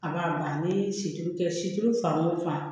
A b'a ban ni siriki kɛ siri fan o fan